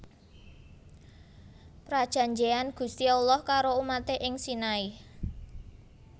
Prajanjeyan Gusti Allah karo umaté ing Sinai